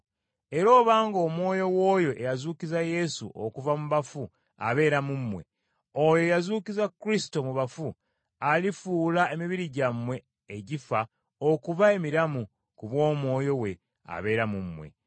Era obanga Omwoyo w’oyo eyazuukiza Yesu okuva mu bafu abeera mu mmwe, oyo eyazuukiza Kristo mu bafu, alifuula emibiri gyammwe egifa okuba emiramu ku bw’Omwoyo we abeera mu mmwe.